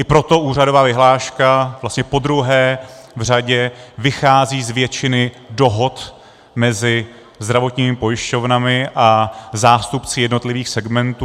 I proto úhradová vyhláška vlastně podruhé v řadě vychází z většiny dohod mezi zdravotními pojišťovnami a zástupci jednotlivých segmentů.